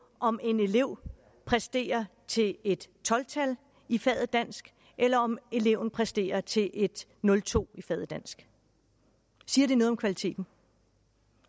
om en elev præsterer til et tolv tal i faget dansk eller om eleven præsterer til et nul to i faget dansk siger det noget om kvaliteten